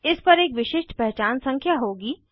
इस पर एक विशिष्ट पहचान संख्या होगी